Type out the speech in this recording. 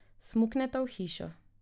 Smukneta v hišo.